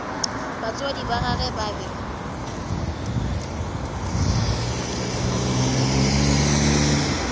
batswadi ba gagwe ba be